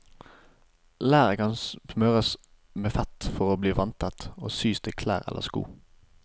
Læret kan smøres med fett for å bli vanntett og syes til klær eller sko.